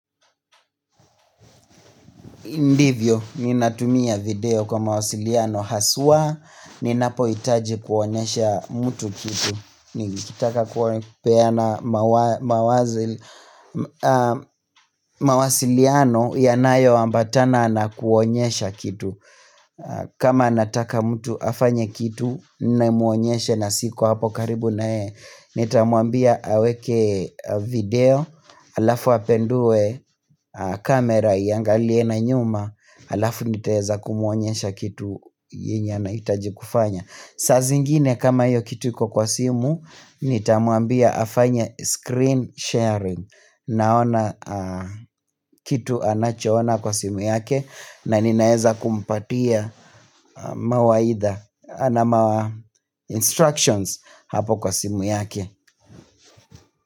Ndivyo, ninatumia video kwa mawasiliano haswa, ninapohitaji kuonyesha mtu kitu Nikitaka kupeana mawasiliano yanayoambatana na kuonyesha kitu kama nataka mtu afanye kitu, ninamuonyesha na siko hapo karibu na yete Nitamwambia aweke video alafu apindue kamera iangalie na nyuma alafu nitaeza kumuonyesha kitu yenye anahitaji kufanya saa zingine kama hiyo kitu iko kwa simu nitamwambia afanye screen sharing naona kitu anachoona kwa simu yake na ninaeza kumpatia mawaidha ama instructions hapo kwa simu yake.